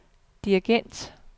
dirigent